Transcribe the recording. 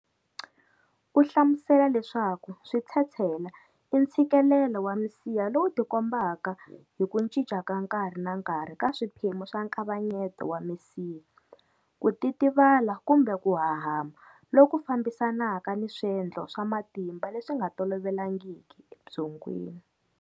U hlamusela leswaku switshetshela i ntshikelelo wa misiha lowu tikombaka hi ku cinca ka nkarhi na nkarhi ka swiphemu swa nkavanyeto wa misiha, ku titivala kumbe ku hahama, loku fambisanaka ni swendlo swa matimba leswi nga tolovelangiki ebyongweni.